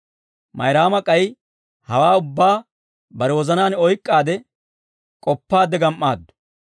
Mayraama k'ay hawaa ubbaa bare wozanaan oyk'k'aade k'oppaadde gam"aaddu.